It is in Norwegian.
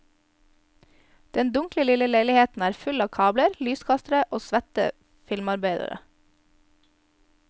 Den dunkle lille leiligheten er full av kabler, lyskastere og svette filmarbeidere.